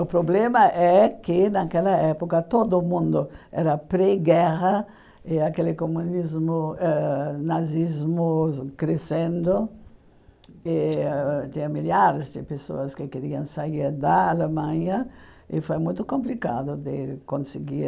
O problema é que naquela época todo mundo era pré-guerra e aquele comunismo eh nazismo crescendo e tinha milhares de pessoas que queriam sair da Alemanha e foi muito complicado de conseguir